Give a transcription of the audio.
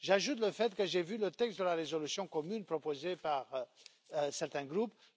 J'ajoute le fait que j'ai vu le texte de la résolution commune proposée par certains groupes.